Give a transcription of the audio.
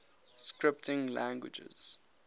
scripting languages